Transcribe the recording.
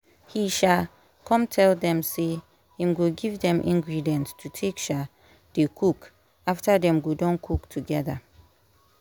he um come tell dem say him go give dem ingredient to take um dey cook after dem go don cook together